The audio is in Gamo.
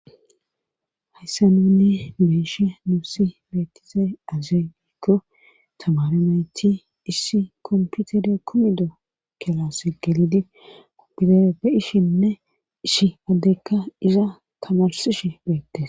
Hayssa nuni be7ishin nuusi beettizey azee giikko tamare nayti issi komputere kumido kilase gelidi goyera be7ishinne ishi addeykka iza tamarsishe beettes.